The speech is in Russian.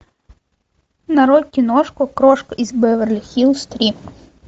нарой киношку крошка из беверли хиллз три